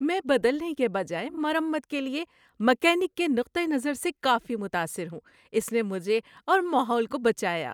میں بدلنے کے بجائے مرمت کے لیے میکینک کے نقطہ نظر سے کافی متاثر ہوں۔ اس نے مجھے اور ماحول کو بچایا۔